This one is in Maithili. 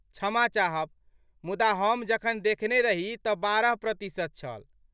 क्षमा चाहब मुदा हम जखन देखने रही तँ बारह प्रतिशत छल।